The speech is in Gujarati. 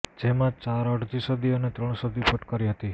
જેમાં ચાર અડધી સદી અને ત્રણ સદી ફટકારી હતી